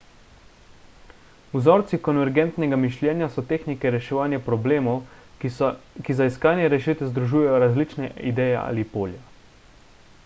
vzorci konvergentnega mišljenja so tehnike reševanja problemov ki za iskanje rešitve združujejo različne ideje ali polja